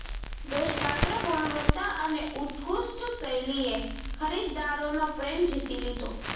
દોષપાત્ર ગુણવત્તા અને ઉત્કૃષ્ટ શૈલીએ ખરીદદારોનો પ્રેમ જીતી લીધો